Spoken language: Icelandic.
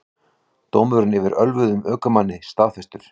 Dómur yfir ölvuðum ökumanni staðfestur